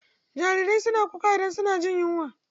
Jarirai suna kuka idan suna jin yunwa.